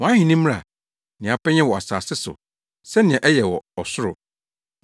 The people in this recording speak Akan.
Wʼahenni mmra. Nea wopɛ nyɛ wɔ asase so, sɛnea ɛyɛ wɔ ɔsoro.